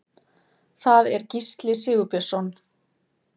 Það er Gísli Sigurbjörnsson.